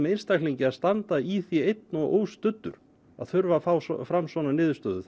einstaklingi að standa í því einn og óstuddur að þurfa að fá fram svona niðurstöðu